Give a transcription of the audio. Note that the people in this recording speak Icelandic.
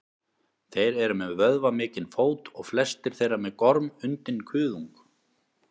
þeir eru með vöðvamikinn fót og flestir þeirra með gormundinn kuðung